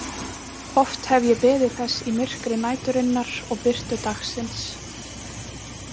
Oft hef ég beðið þess í myrkri næturinnar og birtu dagsins.